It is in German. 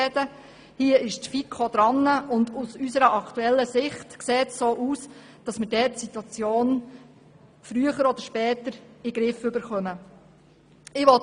Die FiKo hat den Punkt aufgenommen, und aus unserer Sicht sieht es so aus, dass wir die Situation früher oder später in den Griff bekommen werden.